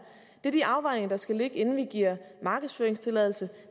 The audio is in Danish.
er de afvejninger der skal ligge inden vi giver markedsføringstilladelse